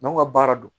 N'anw ka baara don